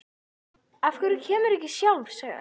Af hverju kemurðu ekki sjálf? sagði hann.